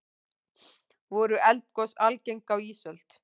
voru eldgos algeng á ísöld